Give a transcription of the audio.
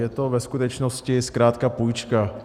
Je to ve skutečnosti zkrátka půjčka.